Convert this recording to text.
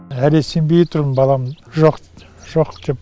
әлі сенбей тұрмын балам жоқ деп